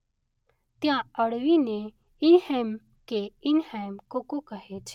ત્યાં અળવીને ઈનહૅમ કે ઈનહૅમ-કોકો કહે છે.